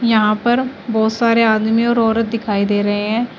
यहां पर बहुत सारे आदमी और औरत दिखाई दे रहे हैं।